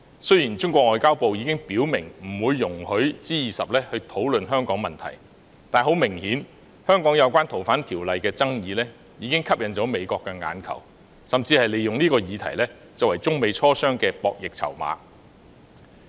雖然中國外交部已表明不會容許在 G20 峰會討論香港問題，但很明顯，香港有關《條例》的爭議已吸引了美國的眼球，美國甚至利用這項議題作為中美磋商的博弈籌碼。